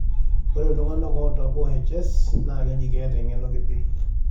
ore iltung'anak oota OHS Naakeji keeta eng'eno kiti.